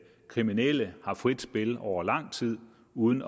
kriminelle har frit spil over lang tid uden